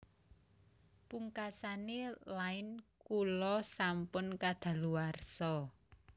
Pungkasane Line kula sampun kadaluwarsa